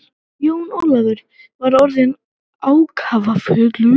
Jón Ólafur var orðinn ákafur.